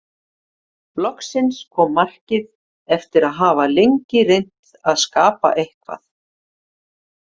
Loksins kom markið eftir að hafa lengi reynt að skapa eitthvað.